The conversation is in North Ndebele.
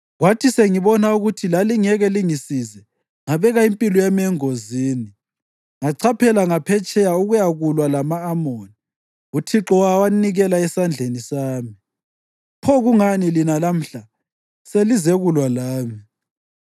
Kwathi sengibona ukuthi lalingeke lingisize, ngabeka impilo yami engozini ngachaphela ngaphetsheya ukuyakulwa lama-Amoni, uThixo wawanikela esandleni sami. Pho kungani lina lamhla selizekulwa lami?”